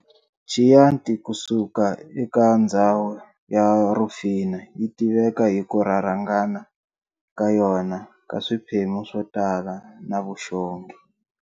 Chianti kusuka eka ndzhawu ya Rufina yitiveka hiku rharhangana ka yona ka swiphemu swotala na vuxongi.